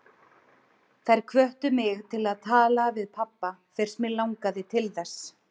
Þær hvöttu mig til að tala við pabba fyrst mig langaði til þess.